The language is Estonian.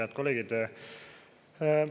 Head kolleegid!